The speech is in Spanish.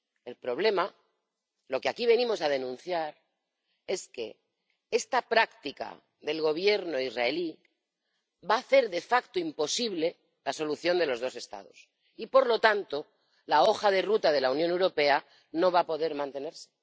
El problema, lo que aquí venimos a denunciar, es que esta práctica del Gobierno israelí va a hacer de facto imposible la solución de los dos Estados y, por lo tanto, la hoja de ruta de la Unión Europea no va a poder mantenerse.